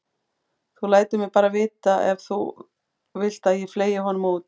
Þú lætur mig bara vita ef þú vilt að ég fleygi honum út.